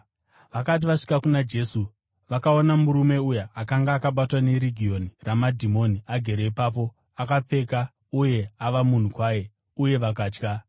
Vakati vasvika kuna Jesu, vakaona murume uya akanga akabatwa neRegioni ramadhimoni, agere ipapo, akapfeka uye ava munhu kwaye; uye vakatya.